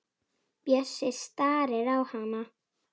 Bjössi starir á hana.